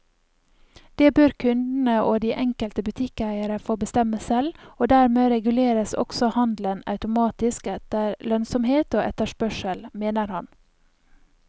Det bør kundene og de enkelte butikkeiere få bestemme selv, og dermed reguleres også handelen automatisk etter lønnsomhet og etterspørsel, mener han.